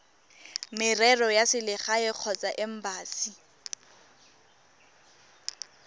merero ya selegae kgotsa embasi